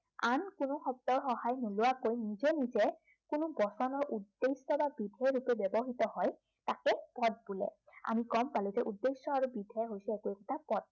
আন কোনো শব্দৰ সহায় নোলোৱাকৈ নিজে নিজে, কোনো বচনৰ উদ্দেশ্য় বা বিধেয়ত যেতিয়া ব্য়ৱহৃত হয়, তাকে পদ বোলে। আমি গম পালো যে উদ্দেশ্য় আৰু বিধেয় হৈছে একো একোটা পদ।